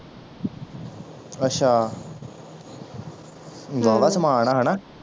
ਅੱਛਾ ਵਾਵਾ ਸਮਾਣ ਆ ਹਣਾ